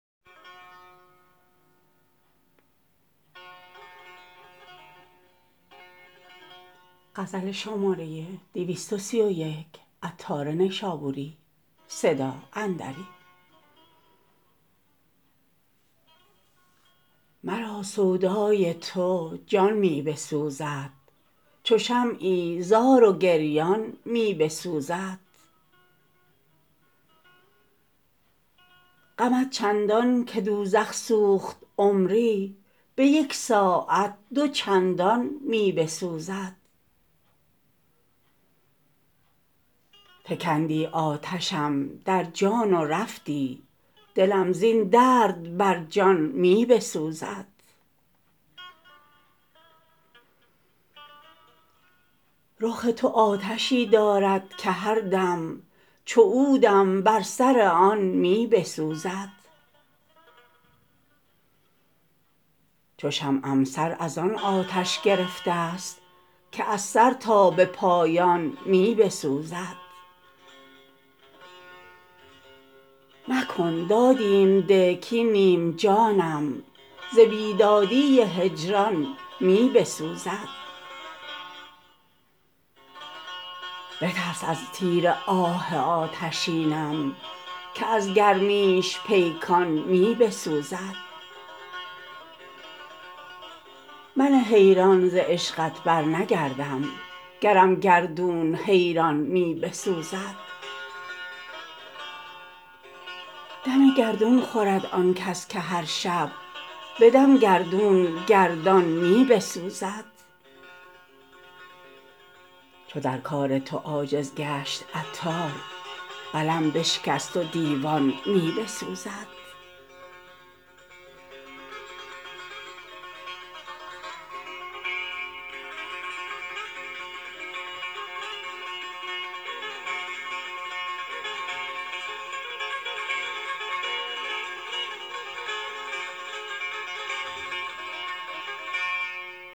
مرا سودای تو جان می بسوزد چو شمعی زار و گریان می بسوزد غمت چندان که دوزخ سوخت عمری به یک ساعت دو چندان می بسوزد فکندی آتشم در جان و رفتی دلم زین درد بر جان می بسوزد رخ تو آتشی دارد که هر دم چو عودم بر سر آن می بسوزد چو شمعم سر از آن آتش گرفته است که از سر تا به پایان می بسوزد مکن دادیم ده کین نیم جانم ز بیدادی هجران می بسوزد بترس از تیر آه آتشینم که از گرمیش پیکان می بسوزد من حیران ز عشقت برنگردم گرم گردون حیران می بسوزد دم گردون خورد آن کس که هرشب به دم گردون گردان می بسوزد چو در کار تو عاجز گشت عطار قلم بشکست و دیوان می بسوزد